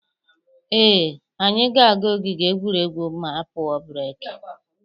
Ee, anyị ga-aga ogige egwuregwu ma a pụọ breki.